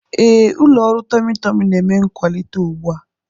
Ee, ụlọ ọrụ tummy Tummy na-eme nkwalite ugbu a.